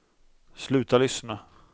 sluta lyssna